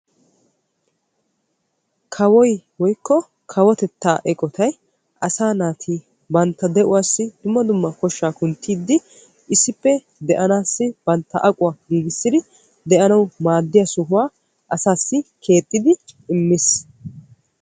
Kawoy woykko kawotetta eqotettay asaa naati bantta de'uwa giigissiyo eqotta keexi giigissiddi imees.